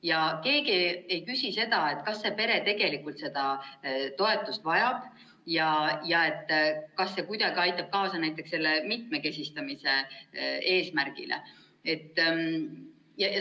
Ja keegi ei küsi, kas see pere tegelikult seda toetust vajab ja kas see kuidagi aitab kaasa näiteks sellele mitmekesistamise eesmärgile.